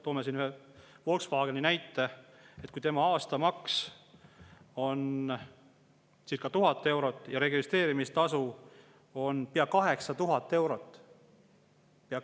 Toome Volkswageni näite: selle aastamaks on circa 1000 eurot ja registreerimistasu pea 8000 eurot.